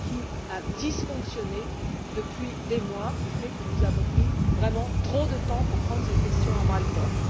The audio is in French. Qu'est ce qui a dysfonctionné depuis des mois qui fait que nous avons pris vraiment trop de temps pour prendre cette question à bras le corps?